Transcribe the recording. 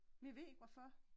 Men jeg ved ikke hvorfor